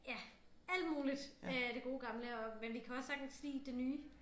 Ja alt muligt af det gode gamle og men vi kan også sagtens lide det nye